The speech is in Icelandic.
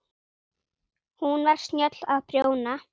Hún var snjöll að prjóna.